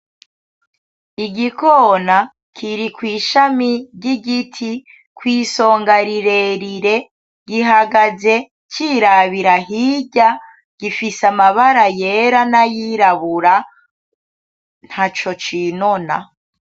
Igikona kiri kwishami ryigiti, kwisonga rirerire, gihagaze cirabira hirya gifise amabara yera nayirabura ntaco cinona.